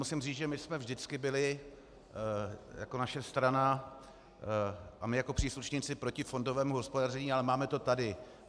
Musím říct, že my jsme vždycky byli jako naše strana a my jako příslušníci proti fondovému hospodaření, ale máme to tady.